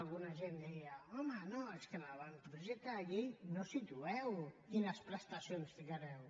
alguna gent deia home no és que a l’avantprojecte de llei no situeu quines prestacions hi ficareu